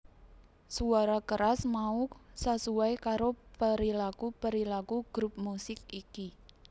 Suara keras mau sasuai karo perilaku perilaku grup musik iki